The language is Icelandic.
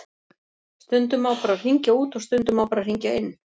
Stundum má bara hringja út og stundum má bara hringja inn.